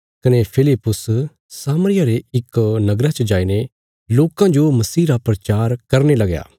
कने फिलिप्पुस सामरिया रे इक नगरा च जाईने लोकां जो मसीह रा प्रचार करने लगया